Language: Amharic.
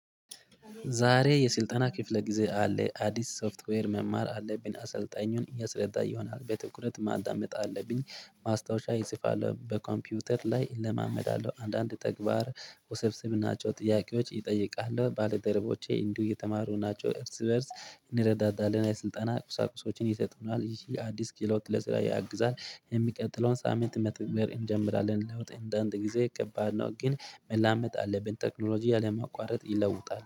ዛሬ የስልጠና ክፍለ ጊዜ አለ አዲስ ሶፍትዌር መማር አለብኝ አሰልጣኙን እያሰለጠነ ይሆናል በትኩረት ማዳመጥ አለብኝ። ማስታወሻ ይጽፋል በኮምፒውተር ላይ እለማመዳለሁ አንዳንድ ተግባር ውስብስብ ናቸው ጥያቄዎች ይጠይቃሉ ባለደረቦቼ እንዲሁ እየተማሩ ናቸው እርስ በእርስ። እንረዳዳለን የስልጣና ቁሳቁሶችን ይሰጡናል ይህ አዲስ ክህሎት ለስራ ያግዛል። የሚቀጥለውን ሳምንት መተግበር እንጀምራለን ለውጥ እንደአንድ ጊዜ ከባድ ነው ግን። መላመጥ አለብን ቴክኖሎጂ አለማቋረጥ ይለውጣል